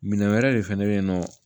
Minɛn wɛrɛ de fɛnɛ bɛ ye nɔ